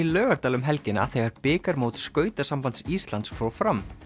Laugardal um helgina þegar bikarmót Íslands fór fram